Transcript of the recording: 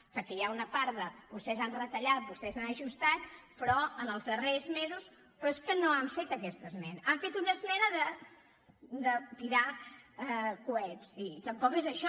perquè hi ha una part de vostès han retallat vostès han ajustat però en els darrers mesos però és que no han fet aquesta esmena han fet una es·mena de tirar coets i tampoc és això